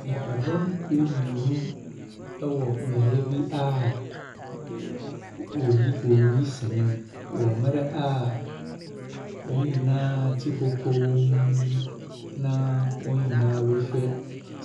Nnipadɔm kuo mmirnu ɛwɔ beaeɛ bi a woyi wɔreyi sene wɔ mmerɛ a wɔn nyinaa te hɔ komm na wɔn nyina rehwɛ